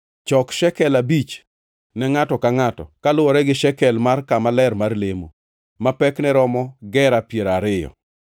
chok shekel abich ne ngʼato ka ngʼato, kaluwore gi shekel mar kama ler mar lemo, ma pekne romo gera piero ariyo.